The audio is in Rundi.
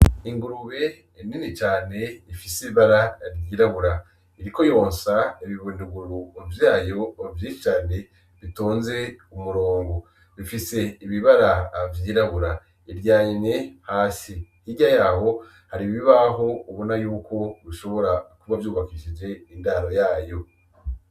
Ingurube nini cane ifise ibara ryirabura iriko yonsa ibibunduguru vyayo vyinshi cane bitonze umurongo bifise ibibara vyirabura iryamye hasi hirya yabo hari ibibaho ubona yuko bishobora kuba vyubakishije indaro yayo.